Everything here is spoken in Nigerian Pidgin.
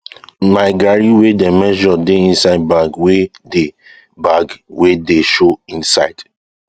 my garri wey dem measure dey inside bag wey dey bag wey dey show inside